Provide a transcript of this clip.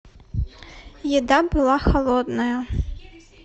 еда была холодная